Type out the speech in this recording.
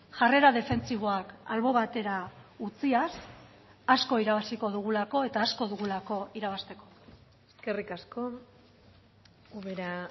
jarrera defentsiboak albo batera utziaz asko irabaziko dugulako eta asko dugulako irabazteko eskerrik asko ubera